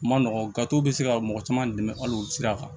Ma nɔgɔn kato be se ka mɔgɔ caman dɛmɛ ali o sira kan